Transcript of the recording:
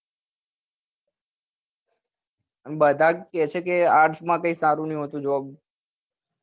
બધા કે છે કે arts કઈ સારી નથી job